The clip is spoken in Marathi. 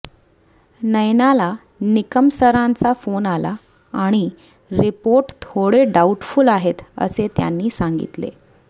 नयनाला निकम सरांचा फोन आला आणि रिपोर्ट थोडे डाऊटफुल आहेत असे त्यांनी सांगितले